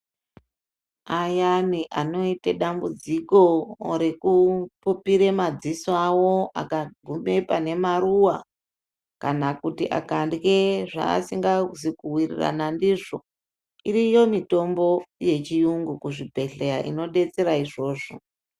Ayani anoite dambudziko rekupupire madziso awo akagqube pane maruwa kana kuti akandye zvaasingazi kuwirirana ndizvo iriyo mitombo yechiyungu kuzvibhedhleya inodetsere izvozvo.